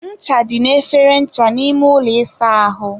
ncha dị n'efere ncha n'ime ụlọ ịsa ahụ.